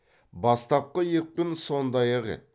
бастапқы екпін сондай ақ еді